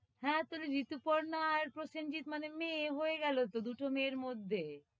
হ্যাঁ, তোর এই ঋতুপর্ণা আর প্রসেনজিৎ মানে মেয়ে, হয়ে গেলো তো দুটো মেয়ের মধ্যে,